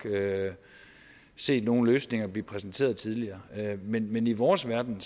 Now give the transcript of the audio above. set nogle løsninger blive præsenteret tidligere men men i vores verden